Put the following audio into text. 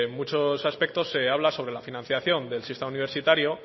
muchos aspectos se habla sobre la financiación del sistema universitario